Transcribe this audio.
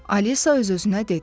Alisa öz-özünə dedi.